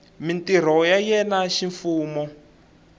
mintirho ya yena ya ximfumo